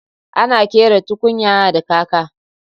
Ana ƙera tukunya da kaka